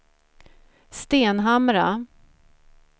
Stenhamra